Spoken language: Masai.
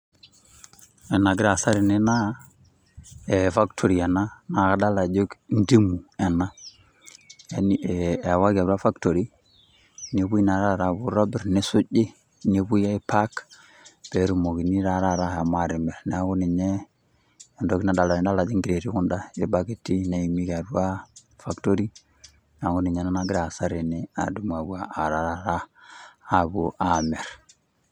Ena agira aasa tene naa factory ena naa kadolita ajo ntimu ena yaani ewaki atua factory nepuoi naa taata aitobir nisuji nepuoi aipak pee etumokini taata ashom atimir neaku ninye etoki nadolita tede nidol ajo crates kunda irbaketi neeniki apa atua factory neaku nagira aasa tene adumu aapuo aarrata apuo aamir.